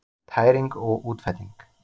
Tæring og útfelling